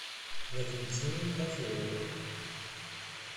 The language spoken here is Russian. валентине козловой